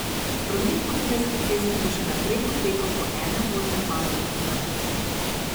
Promet po Dunajski cesti bo še naprej potekal po enem voznem pasu v vsako smer.